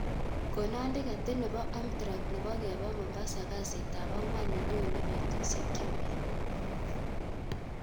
Konon tiketit nepo amtrak nepo kepa mombasa kasit ab angwan nenyone betusyek chemiach